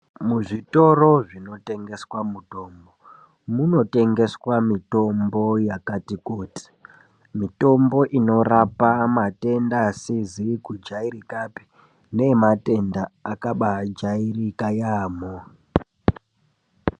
Muzvitoro zvinotengeswa mutombo, munotengeswa mitombo yakati kuti. Mitombo inorapa matenda asizikujairikapi nematenda akabajairika yamo.